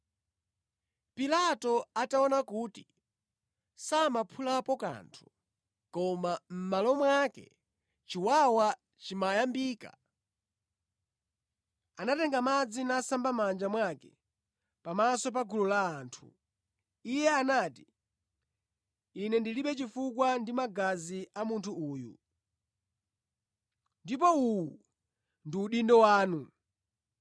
Pilato ataona kuti samaphulapo kanthu, koma mʼmalo mwake chiwawa chimayambika, anatenga madzi nasamba mʼmanja mwake pamaso pa gulu la anthu. Iye anati “Ine ndilibe chifukwa ndi magazi a munthu uyu, ndipo uwu ndi udindo wanu!”